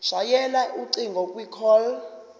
shayela ucingo kwicall